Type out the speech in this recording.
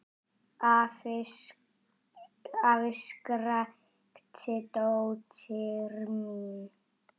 Afi! skrækti dóttir mín.